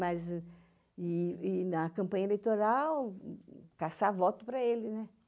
Mas, e na campanha eleitoral, caçar voto para eles, né?